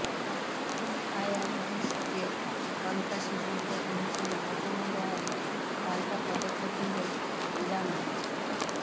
Trump আইআরজিসিকে সন্ত্রাসী সংগঠন হিসেবে ঘোষণা দেয়ায় পাল্টা পদক্ষেপ নিল ইরানও